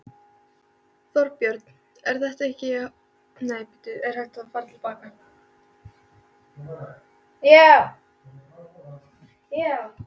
Þorbjörn: Er þetta hápunkturinn fyrir Samhjálp, þetta kvöld?